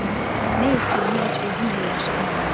Amma nə etdiyimi heç özüm də yaxşı anlamıram.